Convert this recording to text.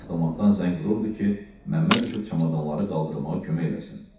Avtomatdan zəng vururdu ki, Məmməd düşüb çamadanları qaldırmağa kömək eləsin.